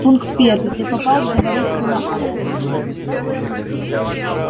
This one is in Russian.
пункт первый ты попал в заварушку на аскони